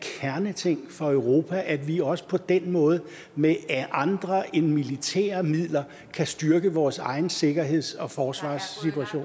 kerneting for europa at vi også på den måde med andre end militære midler kan styrke vores egen sikkerheds og forsvarssituation